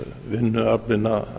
vinnuaflinu að